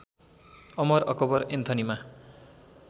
Amar Akbar एन्थनीमा